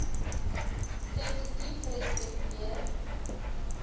sensitiefrespekteer